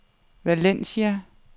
Valencia